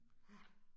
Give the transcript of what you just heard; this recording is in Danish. Ja